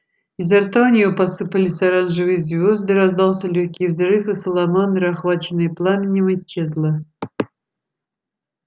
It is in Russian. изо рта у нее посыпались оранжевые звезды раздался лёгкий взрыв и саламандра охваченная пламенем исчезла